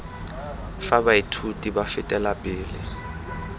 fa baithuti ba fetela pele